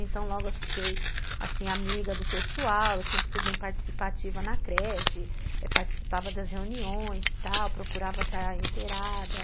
Então, logo eu fiquei assim, amiga do pessoal, eu sempre fui bem participativa na creche, participava das reuniões e tal, procurava estar inteirada.